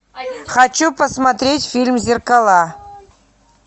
хочу посмотреть фильм зеркала